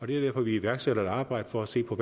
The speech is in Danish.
det er derfor vi iværksætter et arbejde for at se på